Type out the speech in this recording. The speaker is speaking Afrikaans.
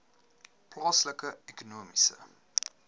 plaaslike ekonomiese